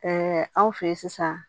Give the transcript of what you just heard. anw fɛ yen sisan